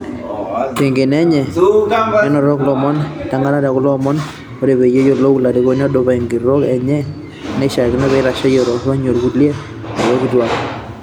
Tenkeno enye, nenotok lomon lenakata tekulo omon: " Ore peyie eyiolou olarikoni odupa enkitoo enye, neishakino neitashe tooronyi orkulia arikok kituaak."